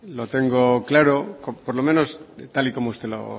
lo tengo claro por lo menos tal y como usted lo